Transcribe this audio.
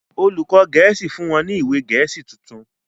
olùkó gèésì fún wón ní ìwé gèésì títún.